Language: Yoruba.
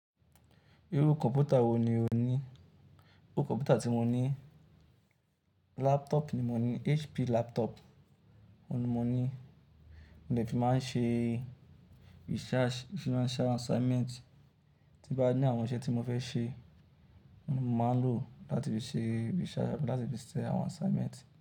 Irú kọ̀npútà wo ni o ní? Irú kọ̀mpútà tí mo ní, laptop ni mo ní, HP laptop òun ni mo ní, mo dẹ fi máa ń ṣe research, mo fi máa ń ṣe assignment, tín bá ní àwọn iṣẹ́ tí mo fẹ́ ṣe, òun ni mo máa ń lò ó láti fi ṣe research, láti fi ṣe àwọn assignment.